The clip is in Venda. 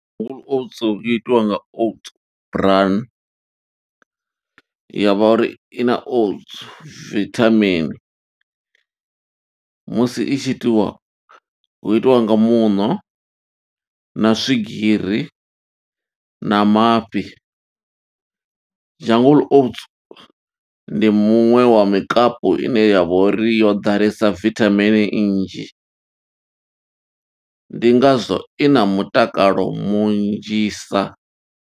Jungle oats, i itiwa nga oats bran, ya vha uri i na oats vithamini. Musi i tshi itiwa, hu itiwa nga muṋo, na swigiri, na mafhi. Jungle Oats ndi muṅwe wa mikapu ine ya vha uri yo ḓalesa vithamini nnzhi, ndi ngazwo i na mutakalo munzhisa.